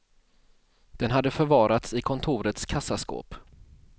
Den hade förvarats i kontorets kassaskåp.